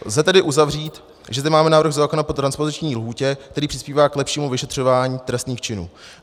Lze tedy uzavřít, že zde máme návrh zákona po transpoziční lhůtě, který přispívá k lepšímu vyšetřování trestných činů.